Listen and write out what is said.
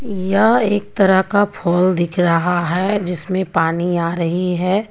यह एक तरह का फोल दिख रहा है जिसमे पानी आ रही है.